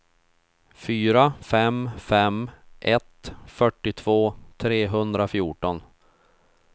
fyra fem fem ett fyrtiotvå trehundrafjorton